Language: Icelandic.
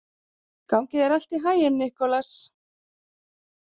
Gangi þér allt í haginn, Nikolas.